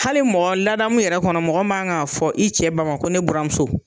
Hali mɔgɔ ladamu yɛrɛ kɔnɔ mɔgɔ man kan k'a fɔ i cɛ ba ma ko ne bura muso.